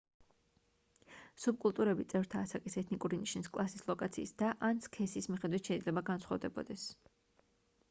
სუბკულტურები წევრთა ასაკის ეთნიკური ნიშნის კლასის ლოკაციის და/ან სქესის მიხედვით შეიძლება განსხვავდებოდეს